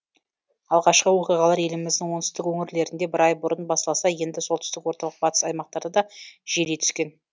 алғашқы оқиғалар еліміздің оңтүстік өңірлерінде бір ай бұрын басталса енді солтүстік орталық батыс аймақтарда да жиілей түскен